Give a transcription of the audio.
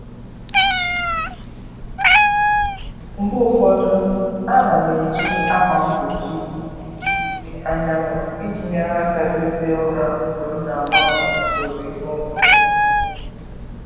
Mgbe ụfọdụ, a na m eji ákwà mgbochi ìhè anyanwụ iji nyere aka dozie ụra mgbe m na-agbanwe usoro iheomume.